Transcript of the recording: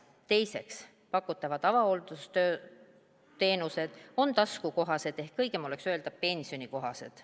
Teiseks, pakutavad avahooldusteenused on taskukohased, ehk õigem oleks öelda, pensionikohased.